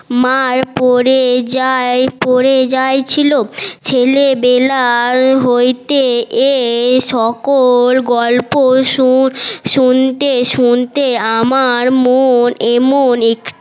মার পরে যায় পরে যায় ছিল ছেলেবেলার হইতে এই সকল গল্প শুনতে শুনতে আমার মন এমন